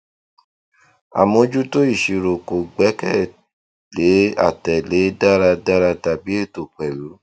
àmójútó ìṣirò kò gbẹkẹ lé àtẹlẹ dáradára tàbí ètò pẹlú